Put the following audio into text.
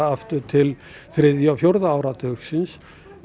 aftur til þriðja og fjórða áratugsins